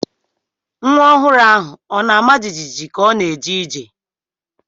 Nwa ọhụrụ ahụ ọ na-ama jijiji ka ọ na-eje ije?